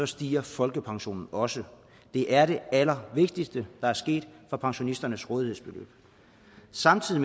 stiger folkepensionen også det er det allervigtigste der er sket for pensionisternes rådighedsbeløb samtidig